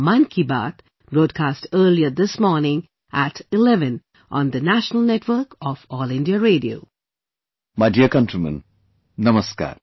My dear countrymen, Namaskar